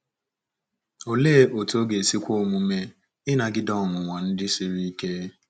Olee otú ọ ga-esi kwe omume ịnagide ọnwụnwa ndị siri ike?